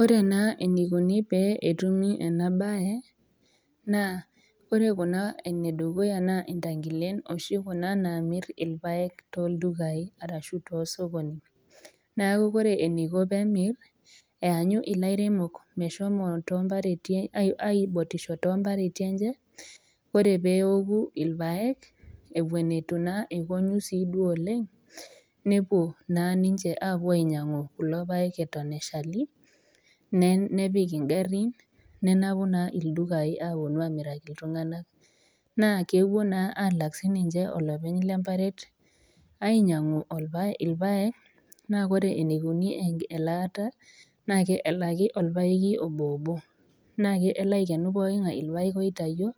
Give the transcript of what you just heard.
Ore naa eneikuni pee etumi ena baye, naa ore Kuna ene dukuya naa intang'ilen oshi kuna naamir ilpaek tooldukai arashu too sokonini, neaku ore eneiko pee emir, eanyu ilairemok meshomo toompareti aibotisho too impareti enye, ore pee eoku ilpaek ewuen eitu naa ekonyu sii duo oleng', nepuo naa ninche ainyang'u kulo paek Eton eshali, nepik ing'arin, nenapu naa ildukain apuonu aamiraki iltung'ana, naa kewuo naa alak sii ninye olopeny le emparet ainyang'u ilpaek, naa ore eneikuni elaata naake elaki olpaeki obo obo naa kelo Aiken pooking'ai ilpaek oitayio